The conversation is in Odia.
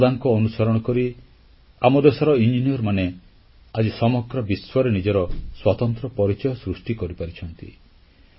ତାଙ୍କର ପଦାଙ୍କ ଅନୁସରଣ କରି ଆମ ଦେଶର ଇଞ୍ଜିନିୟରମାନେ ଆଜି ସମଗ୍ର ବିଶ୍ୱରେ ନିଜର ସ୍ୱତନ୍ତ୍ର ପରିଚୟ ସୃଷ୍ଟି କରିପାରିଛନ୍ତି